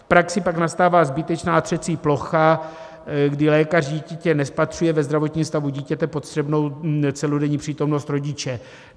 V praxi pak nastává zbytečná třecí plocha, kdy lékař dítěte nespatřuje ve zdravotním stavu dítěte potřebnou celodenní přítomnost rodiče.